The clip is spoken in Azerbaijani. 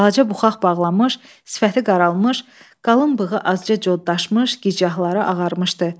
Balaça buxaq bağlanmış, sifəti qaralmış, qalın bığı azca codlaşmış, gicgahları ağarmışdı.